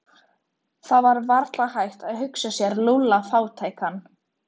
Það var varla hægt að hugsa sér Lúlla fátækan.